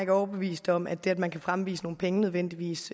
ikke overbevist om at det at man kan fremvise nogle penge nødvendigvis